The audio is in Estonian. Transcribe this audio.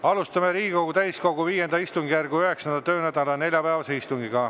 Alustame Riigikogu täiskogu V istungjärgu 9. töönädala neljapäevast istungit.